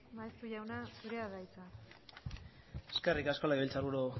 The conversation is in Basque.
maeztu jauna zurea da hitza eskerrik asko legebiltzar buru